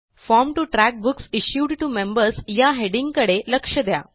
form T O track books issued T O members या हेडिंगकडे लक्ष द्या